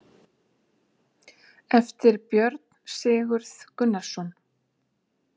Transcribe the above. Eftir Björn Sigurð Gunnarsson.